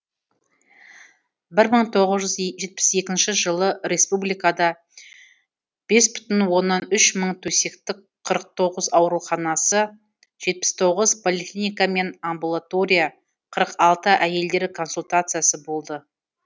бір мың тоғыз жүз жетпіс екі жылы республикада бес бүтін оннан үш мың төсектік қырық тоыз ауруханасы жетпіс тоғыз поликлиника мен амбултория қырық алты әйелдер консультациясы болды